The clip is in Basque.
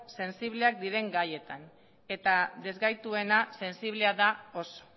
sensibleak diren gaietan eta ezgaituena sensiblea da oso